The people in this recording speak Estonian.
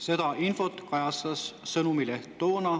Seda infot kajastas toona Sõnumileht.